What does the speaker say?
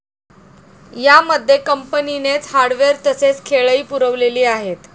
या मध्ये कंपनीनेच हार्डवेअर तसेच खेळही पुरवलेली आहेत.